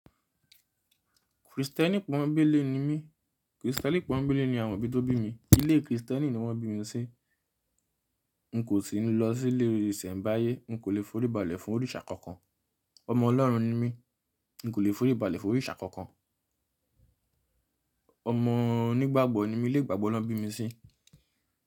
Kristẹni pọ́nńbélé ni mí, Kristẹni pọ́nńbélé ni àwọn òbí tó bí mi. Ilé Kristẹni ni wọ́n bí mi sí. N kò sì ní lọ sí ilé isẹ̀mbayé. N kò lè foríbalẹ̀ fún òrìṣà kankan. Ọmọ Ọlọ́run ni mí, n kò lè foríbalẹ̀ fún òrìṣà kankan. Ọmọ onígbàgbọ́ ni mi, ilé ìgbàgbọ́ ni wọ́n bí mi sí.